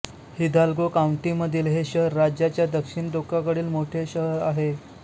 Hidalgo काउंटीमधील हे शहर राज्याच्या दक्षिण टोकाकडील मोठे शहर आहे